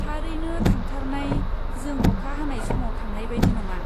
थारैनो थांथारनाय, जों अखा हानाय समाव थांनाय बायदि नङा।